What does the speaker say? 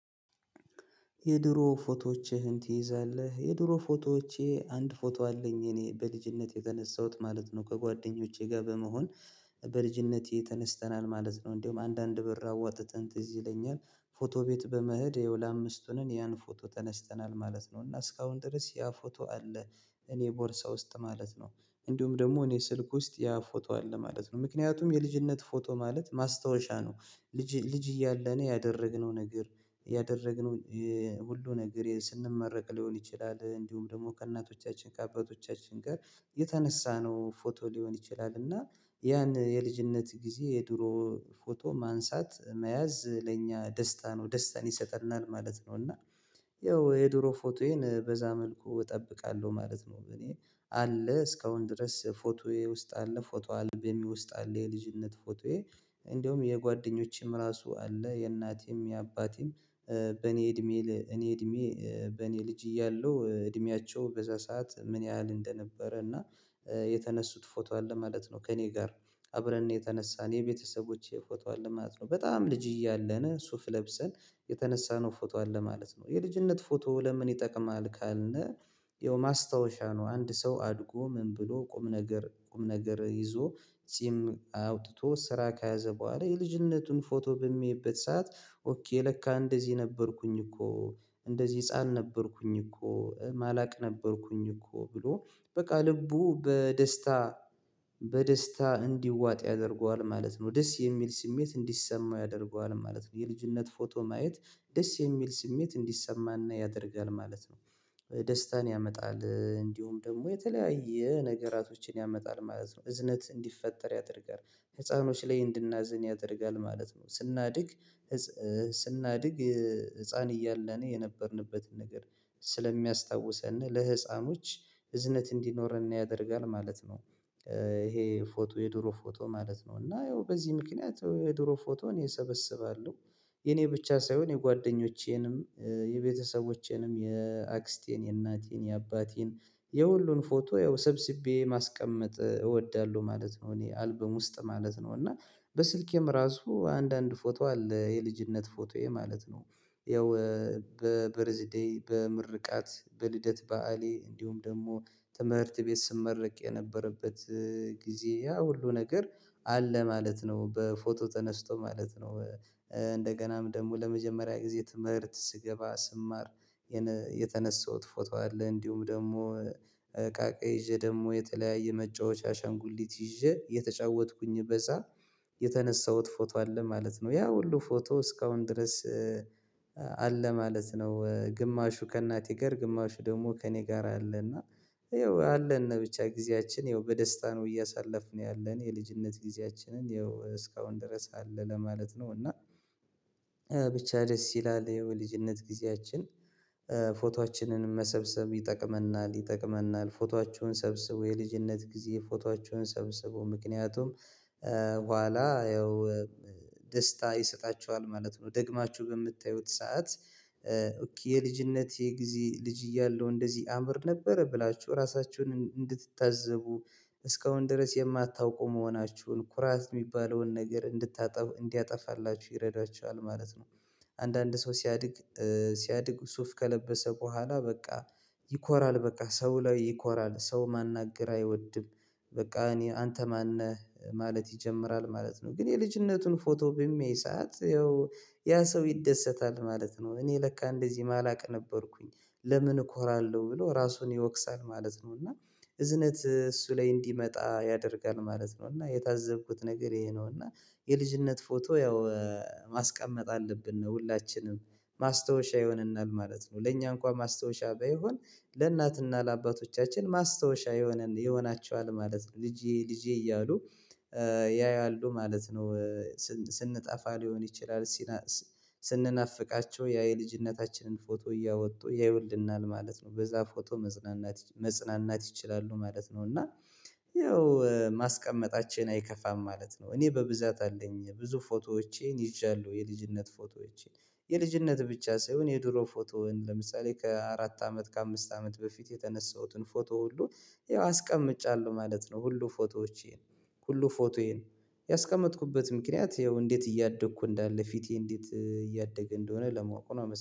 የድሮ ፎቶዎችህን ትይዛለህ? የድሮ ፎቶዎቼ አንድ ፎቶ አለኝ እኔ በልጅነት የተነሳሁት ማለት ነው ከጓደኞቼ ጋር በመሆን በልጅነቴ ተነስተናል ማለት ነው። እንደውም አንዳንድ ብር አዋጥተን ትዝ ይለኛል። ፎቶ ቤት በመሄድ ያው ለአምስት ሆነን ያን ፎቶ ተነስተናል ማለት ነው እና እስካሁን ድረስ ያ ፎቶ አለ። እኔ ቦርሳ ውስጥ ማለት ነው እንዲሁም ደግሞ እኔ ስልክ ውስጥ ያ ፎቶ አለ ማለት ነው ምክንያቱም የልጅነት ፎቶ ማለት ማስታወሻ ነው። ልጅ ልጅ እያለን ያደረግነው ነገር ያደረግነው ሁሉ ነገር ስንመረቅ ሊሆን ይችላል። እንዲሁም ደግሞ ከእናቶቻችን ከአባቶቻችን ጋር የተነሳነው ፎቶ ሊሆን ይችላል። እና ያን የልጅነት ጊዜ የድሮ ፎቶ ማንሳት መያዝ ለኛ ደስታ ነው ደስታን ይሰጠናል ማለት ነው። እና ያው የድሮ ፎቶዬን በዛ መልኩ እጠብቃለሁ ማለት ነው። እኔ አለ እስካሁን ድረስ ፎቶዬ ውስጥ አለ ፎቶ አልበሜ ውስጥ አለ የልጅነት ፎቶዬ። እንደውም የጓደኞቼም ራሱ አለ የእናቴም የአባቴም በእኔ እድሜ እኔ እድሜ በኔ ልጅ እያለሁ እድሜያቸው በዛ ሰዓት ምን ያህል እንደነበረ እና የተነሱት ፎቶ አለ ማለት ነው። ከእኔ ጋር አብረን ነው የተነሳን የቤተሰቦቼ ፎቶ አለ ማለት ነው በጣም ልጅ እያለን ሱፍ ለብሰን የተነሳነው ፎቶ አለ ማለት ነው። የልጅነት ፎቶ ለምን ይጠቅማል ካልን? ያው ማስታወሻ ነው። አንድ ሰው አድጎ ምን ብሎ ቁም ነገር ቁም ነገር ይዞ ጺም አውጥቶ ስራ ከያዘ በኋላ የልጅነቱን ፎቶ በሚያይበት ሰዓት ኦኬ ለካ እንደዚህ ነበርኩኝ እኮ እንደዚህ ህፃን ነበርኩኝ እኮ ማላቅ ነበርኩኝ እኮ ብሎ በቃ ልቡ በደስታ በደስታ እንዲዋጥ ያደርገዋል ማለት ነው ደስ የሚል ስሜት እንዲሰማው ያደርገዋል ማለት ነው። የልጅነት ፎቶ ማየት ደስ የሚል ስሜት እንዲሰማን ያደርጋል ማለት ነው። ደስታን ያመጣል እንዲሁም ደግሞ የተለያየ ነገራቶችን ያመጣል ማለት ነው እዝነት እንዲፈጠር ያደርጋል ህፃኖች ላይ እንድናዝን ያደርጋል ማለት ነው። ስናድግ ስናድግ ህፃን እያለን የነበርንበትን ነገር ስለሚያስታውሰን ለህፃኖች እዝነት እንዲኖረን ያደርጋል ማለት ነው። ይሄ ፎቶ የድሮ ፎቶ ማለት ነው እና ያው በዚህ ምክንያት የድሮ ፎቶ እኔ እሰበስባለሁ። የኔ ብቻ ሳይሆን የጓደኞቼንም የቤተሰቦቼንም የአክስቴን የእናቴን የአባቴን የሁሉን ፎቶ ያው ሰብስቤ ማስቀመጥ እወዳለሁ ማለት ነው። እኔ አልበም ውስጥ ማለት ነው እና በስልኬም ራሱ አንዳንድ ፎቶ አለ የልጅነት ፎቶዬ ማለት ነው ያው በ በርዝዴይ በምርቃት በልደት በዓሌ እንዲሁም ደግሞ ትምህርት ቤት ስመረቅ የነበረበት ጊዜ ያ ሁሉ ነገር አለ ማለት ነው። በፎቶ ተነስቶ ማለት ነው እንደገናም ደግሞ ለመጀመሪያ ጊዜ ትምህርት ስገባ ስማር የተነሳሁት ፎቶ አለ እንዲሁም ደግሞ እቃቃ ይዤ ደግሞ የተለያየ መጫወቻ አሻንጉሊት ይዤ እየተጫወትኩኝ በዛ የተነሳሁት ፎቶ አለ ማለት ነው። ያ ሁሉ ፎቶ እስካሁን ድረስ አለ ማለት ነው። ግማሹ ከእናቴ ጋር ግማሹ ደግሞ ከእኔ ጋር አለና ይኸው አለን ብቻ ጊዜያችን ያው በደስታ ነው እያሳለፍን ያለን የልጅነት ጊዜያችንን ያው እስካሁን ድረስ አለ ለማለት ነው። እና ብቻ ደስ ይላል ያው የልጅነት ጊዜያችን ፎቶአችንንም መሰብሰብ ይጠቅመናል ይጠቅመናል ፎቶአችሁን ሰብስቡ የልጅነት ጊዜ ፎቶአችሁን ሰብስቡ ምክንያቱም በኋላ ያው ደስታ ይሰጣችኋል ማለት ነው። ደግማችሁ በምታዩት ሰዓት የልጅነት የጊዜ ልጅ እያለሁ እንደዚህ አምር ነበረ ብላችሁ ራሳችሁን እንድትታዘቡ እስካሁን ድረስ የማታውቁ መሆናችሁን ኩራት የሚባለውን ነገር እንድታጠፉ እንዲያጠፋላችሁ ይረዳችኋል ማለት ነው። አንዳንድ ሰው ሲያድግ ሲያድግ ሱፍ ከለበሰ በኋላ በቃ ይኮራል በቃ ሰው ላይ ይኮራል ሰው ማናገር አይወድም። በቃ እኔ አንተ ማን ነህ ማለት ይጀምራል ማለት ነው። ግን የልጅነቱን ፎቶ በሚያይ ሰዓት ያው ያ ሰው ይደሰታል ማለት ነው። እኔ ለካ እንደዚህ ማላቅ ነበርኩኝ ለምን እኮራለሁ ብሎ ራሱን ይወቅሳል ማለት ነው። እና እዝነት እሱ ላይ እንዲመጣ ያደርጋል ማለት ነው እና የታዘብኩት ነገር ይሄ ነው እና የልጅነት ፎቶ ያው ማስቀመጥ አለብን ነው ሁላችንም ማስታወሻ ይሆንናል ማለት ነው። ለእኛ እንኳን ማስታወሻ ባይሆን ለእናትና ለአባቶቻችን ማስታወሻ የሆነ ይሆናቸኋል ማለት ነው። ልጄ ልጄ እያሉ ያያሉ ማለት ነው። ስንጠፋ ሊሆን ይችላል። ስንናፍቃቸው ያ የልጅነታችንን ፎቶ እያወጡ ያዩልናል ማለት ነው በዛ ፎቶ መጽናናት መጽናናት ይችላሉ ማለት ነው። እና ያው ማስቀመጣችን አይከፋም ማለት ነው። እኔ በብዛት አለኝ ብዙ ፎቶዎቼን ይዣለሁ የልጅነት ፎቶዎቼን የልጅነት ብቻ ሳይሆን የድሮ ፎቶውን ለምሳሌ ከአራት አመት ከአምስት አመት በፊት የተነሳሁትን ፎቶ ሁሉ ያው አስቀምጫለሁ ማለት ነው። ሁሉ ፎቶዎቼን ሁሉ ፎቶዬን ያስቀመጥኩበት ምክንያት ያው እንዴት እያደግኩ እንዳለ ፊቴ እንዴት እያደገ እንደሆነ ለማወቅ ነው